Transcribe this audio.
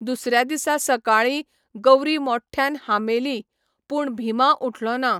दुसऱ्या दिसा सकाळी, गौरी मोठ्ठयान हांबेली, पूण भिमा उठलो ना.